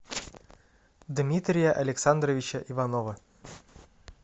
дмитрия александровича иванова